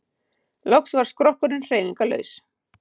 Loks varð skrokkurinn hreyfingarlaus.